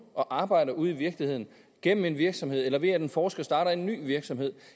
og arbejder ude i virkeligheden gennem en virksomhed eller ved at en forsker starter en ny virksomhed